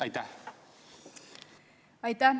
Aitäh!